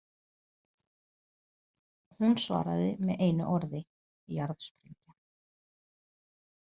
Hún svaraði með einu orði: „Jarðsprengja“.